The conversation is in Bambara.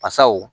Basaw